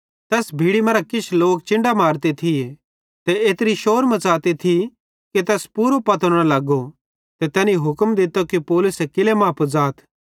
तैस भीड़ी मां किछ लोक चिन्डां मारते थिये ते एत्री शौर मच़ौरी थी कि तैस पूरो पतो न लगो ते तैनी हुक्म दित्तो कि पौलुसे किल्लै मां पुज़ाथ